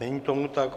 Není tomu tak.